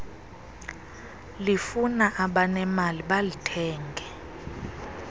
lifuna abanemali balithenge